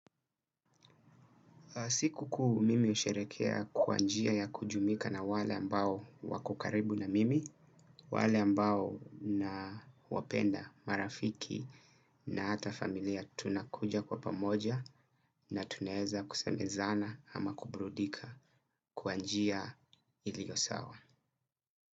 Siku kuu mimi usherehekea kwa njia ya kujumika na wale ambao wako karibu na mimi, wale ambao nawapenda marafiki na hata familia tunakuja kwa pamoja na tunaeza kusemezana ama kuburudika kwa njia ilio sawa.